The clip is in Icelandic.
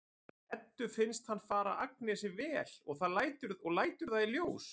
Eddu finnst hann fara Agnesi vel og lætur það í ljós.